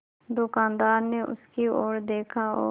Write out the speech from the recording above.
दुकानदार ने उसकी ओर देखा और